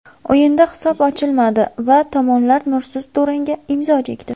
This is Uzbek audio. O‘yinda hisob ochilmadi va tomonlar nursiz durangga imzo chekdi.